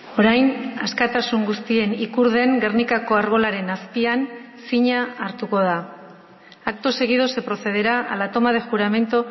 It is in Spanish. orain askatasun guztien ikur den gernikako arbolaren azpian zina hartuko da acto seguido se procederá a la toma de juramento